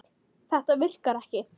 Þetta virkar ekki.